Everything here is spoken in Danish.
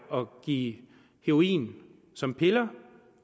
at give heroin som piller